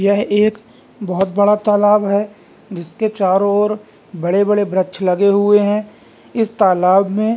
यह एक बहुत बड़ा तालाब है जिसके चारों ओर बड़े-बड़े वृक्ष लगे हुए है इस तालाब में --